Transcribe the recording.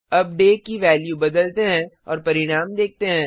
अब डे दिन की वैल्यू को बदलते हैं और परिणाम देखते हैं